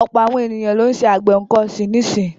Ọ̀pọ̀ àwọn ènìyàn lọ́ ń ṣe àgbẹ̀ nǹkan ọ̀sìn nísì.